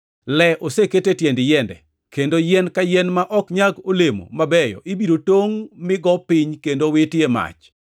Le oseketi e tiend yiende, kendo yien ka yien ma ok nyag olemo mabeyo ibiro tongʼ mi go piny kendo witi e mach.”